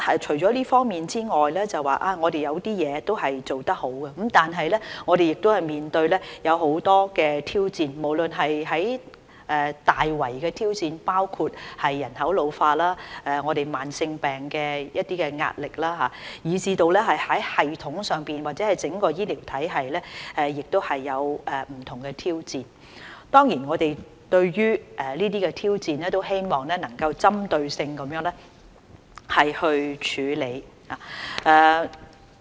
除了這方面外，我們有一些地方都做得好，但我們亦面對很多挑戰，無論是大圍的挑戰，包括人口老化、慢性疾病帶來的壓力，以至在系統上或整個醫療體系也面對不同挑戰，我們對於這些挑戰希望能夠作出針對性的處理。